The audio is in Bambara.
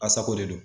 A sago de do